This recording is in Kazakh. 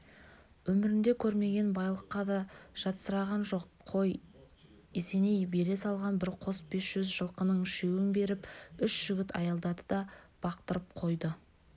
өмірінде көрмеген байлыққа да жатсыраған жоқ қой есеней бере салған бір қос бес жүз жылқының үшеуін беріп үш жігіт аялдады да бақтырып қойды